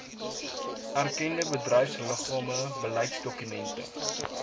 erkende bedryfsliggame beleidsdokumente